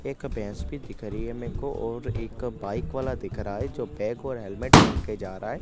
एक भैंस भी दिख रही है मेको और एक बाइक वाला दिख रहा है जो बैग और हेलमेट पेहन के जा रहा है।